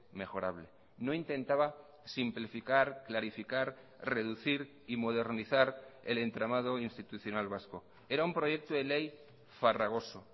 mejorable no intentaba simplificar clarificar reducir y modernizar el entramado institucional vasco era un proyecto de ley farragoso